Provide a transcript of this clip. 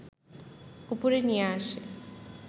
উপরে নিয়ে আসে